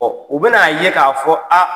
u bɛn'a ye k'a fɔ a